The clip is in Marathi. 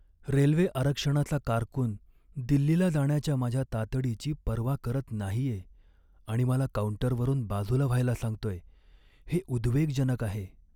रेल्वे आरक्षणाचा कारकून दिल्लीला जाण्याच्या माझ्या तातडीची पर्वा करत नाहीये आणि मला काउंटरवरून बाजूला व्हायला सांगतोय, हे उद्वेगजनक आहे.